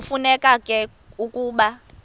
kufuneka ke ukuba